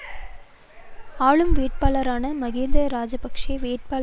ஆளும் வேட்பாளரான மகிந்தா ராஜபக்ச வேட்பாளரான ரனில் விக்கிரமசிங்க